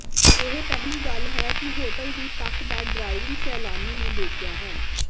ਇਹ ਪਹਿਲੀ ਗੱਲ ਇਹ ਹੈ ਕਿ ਹੋਟਲ ਦੀ ਤੱਕ ਦਾ ਡਰਾਇਵਿੰਗ ਸੈਲਾਨੀ ਨੇ ਦੇਖਿਆ ਹੈ